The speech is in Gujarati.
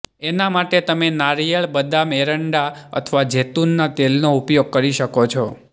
એના માટે તમે નારિયેળ બદામ એરન્ડા અથવા જૈતૂનના તેલનો ઉપયોગ કરી શકો છો